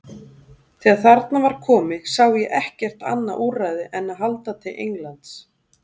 Þegar þarna var komið sá ég ekkert annað úrræði en að halda til Englands.